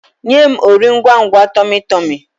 Nye m Ori ngwangwa tummy tummy!